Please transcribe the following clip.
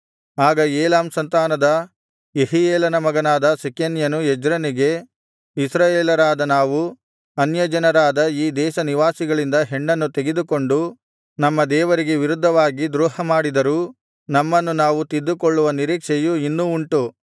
ಆಗ ಏಲಾಮ್ ಸಂತಾನದ ಯೆಹೀಯೇಲನ ಮಗನಾದ ಶೆಕನ್ಯನು ಎಜ್ರನಿಗೆ ಇಸ್ರಾಯೇಲರಾದ ನಾವು ಅನ್ಯಜನರಾದ ಈ ದೇಶನಿವಾಸಿಗಳಿಂದ ಹೆಣ್ಣನ್ನು ತೆಗೆದುಕೊಂಡು ನಮ್ಮ ದೇವರಿಗೆ ವಿರುದ್ಧವಾಗಿ ದ್ರೋಹಮಾಡಿದರೂ ನಮ್ಮನ್ನು ನಾವು ತಿದ್ದಿಕೊಳ್ಳುವ ನಿರೀಕ್ಷೆಯು ಇನ್ನೂ ಉಂಟು